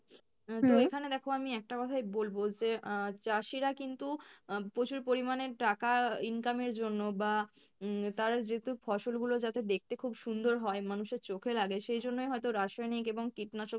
আহ তো এখানে দেখো আমি কথাই বলবো যে আহ চাষীরা কিন্তু আহ প্রচুর পরিমাণে টাকা income এর জন্য বা উম তারা যেহেতু ফসল গুলো যাতে দেখতে খুব সুন্দর হয় মানুষের চোখে লাগে সেই জন্যই হয়তো রাসায়নিক এবং কীটনাশক